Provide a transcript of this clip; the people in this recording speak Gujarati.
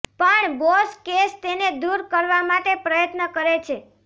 પણ બોસ કેસ તેને દૂર કરવા માટે પ્રયત્ન કરે છે